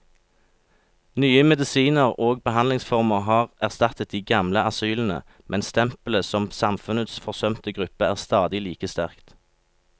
Nye medisiner og behandlingsformer har erstattet de gamle asylene, men stempelet som samfunnets forsømte gruppe er stadig like sterkt.